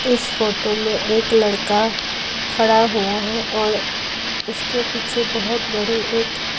इस फोटो में एक लड़का खड़ा हुआ है और उसके पीछे बहुत बड़े एक --